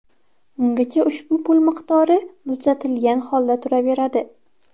Ungacha ushbu pul miqdori ‘muzlatilgan’ holda turaveradi.